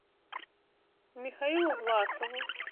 михаилу власову